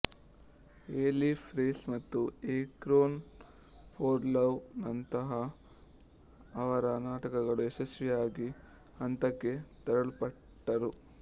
A life race ಮತ್ತು a crown for love ನಂತಹ ಅವರ ನಾಟಕಗಳು ಯಶಸ್ವಿಯಾಗಿ ಹಂತಕ್ಕೆ ತರಲ್ಪಟ್ಟರು